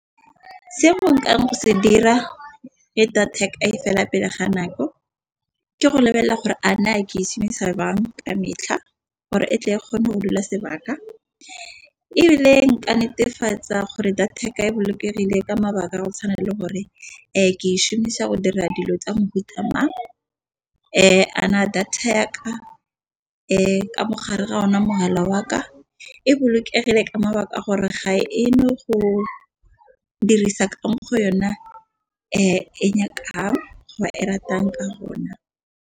Seo go se dira ga data fela pele ga nako ke go lebelela gore a ne ke e shomisa jwang ka metlha gore e tle e kgone go dula sebaka, ebile nka netefatsa gore data e bolokegile ka mabaka a go tshwana le gore e ke e shomisa go dira dilo tsa mefuta mang. Data ya ka mogare ga ona mogala wa ka e bolokegile ka mabaka a gore ga e no go dirisa ka mo go yona e nyakang go e ratang ka rona.